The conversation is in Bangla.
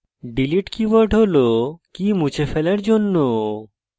delete keyword হল key মুছে ফেলার জন্য